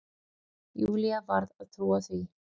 Júlía varð að trúa því.